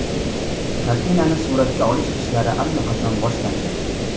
Kartinani suratga olish ishlari allaqachon boshlangan.